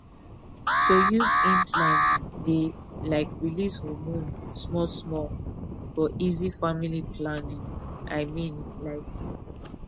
to use implant dey um release hormone small small for easy family planning i mean like